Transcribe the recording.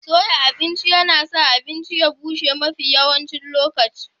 Soya abinci yana sa abincin ya bushe mafi yawan lokuta.